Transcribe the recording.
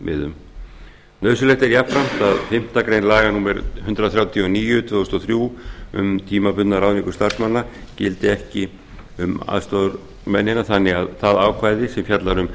sjónarmiðum nauðsynlegt er jafnframt að fimmtu grein laga númer hundrað þrjátíu og níu tvö þúsund og þrjú um tímabundna ráðningu starfsmanna gildi ekki um aðstoðarmennina þannig að það ákvæði sem fjallar um